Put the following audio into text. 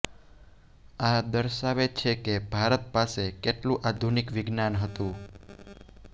આ દર્શાવે છે કે ભારત પાસે કેટલું આધુનિક વિજ્ઞાન હતું